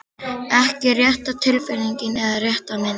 Ekki rétta tilfinningin eða rétta myndin.